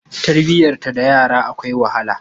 Tarbiyantar da yara akwai wahala.